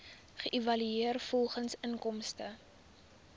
geëvalueer volgens inkomste